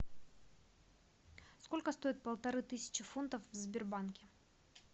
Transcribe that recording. сколько стоит полторы тысячи фунтов в сбербанке